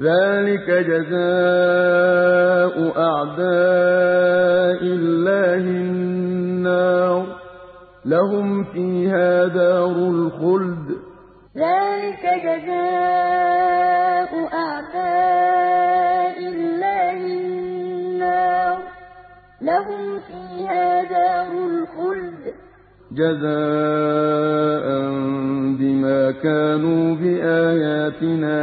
ذَٰلِكَ جَزَاءُ أَعْدَاءِ اللَّهِ النَّارُ ۖ لَهُمْ فِيهَا دَارُ الْخُلْدِ ۖ جَزَاءً بِمَا كَانُوا بِآيَاتِنَا يَجْحَدُونَ ذَٰلِكَ جَزَاءُ أَعْدَاءِ اللَّهِ النَّارُ ۖ لَهُمْ فِيهَا دَارُ الْخُلْدِ ۖ جَزَاءً بِمَا كَانُوا بِآيَاتِنَا